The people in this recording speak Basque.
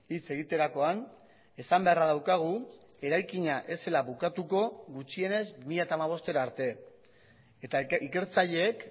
hitz egiterakoan esan beharra daukagu eraikina ez zela bukatuko gutxienez bi mila hamabostera arte eta ikertzaileek